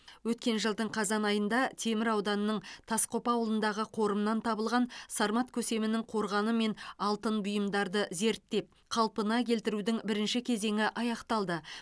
өткен жылдың қазан айында темір ауданының тасқопа ауылындағы қорымнан табылған сармат көсемінің қорғаны мен алтын бұйымдарды зерттеп қалпына келтірудің бірінші кезеңі аяқталды